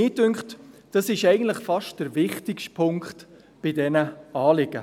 Mich dünkt, dies sei eigentlich der fast wichtigste Punkt von diesen Anliegen.